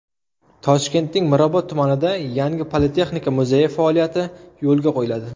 Toshkentning Mirobod tumanida yangi Politexnika muzeyi faoliyati yo‘lga qo‘yiladi.